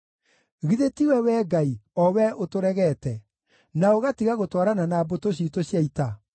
Githĩ tiwe, Wee Ngai, o Wee ũtũregete, na ũgatiga gũtwarana na mbũtũ ciitũ cia ita?